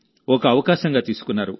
ఒక అవకాశంగా తీసుకున్నారు